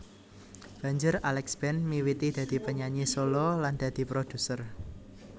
Banjur Alex Band miwiti dadi penyanyi solo lan dadi produser